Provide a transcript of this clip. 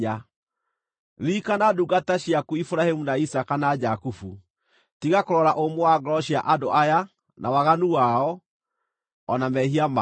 Ririkana ndungata ciaku Iburahĩmu, na Isaaka, na Jakubu. Tiga kũrora ũmũ wa ngoro cia andũ aya, na waganu wao, o na mehia mao.